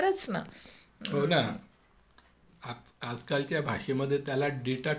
हो ना आजकालच्या भाषेमध्ये त्याला डेटा ट्रान्सफर म्हणता येईल.